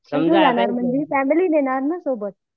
family नेणार ना सोबत